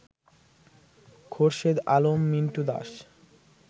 Khorshed Alam, Mintu Das